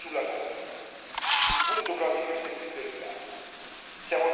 Infine la governance, il punto probabilmente più delicato.